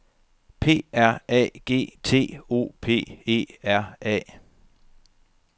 P R A G T O P E R A